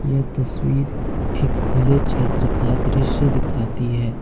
यह तस्वीर एक खुले क्षेत्र का दृश्य दिखाती है।